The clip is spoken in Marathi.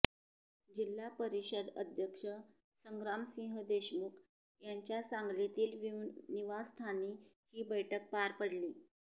जिल्हा परिषद अध्यक्ष संग्रामसिंह देशमुख यांच्या सांगलीतील निवासस्थानी ही बैठक पार पडली